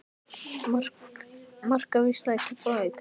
Markaveisla í Keflavík?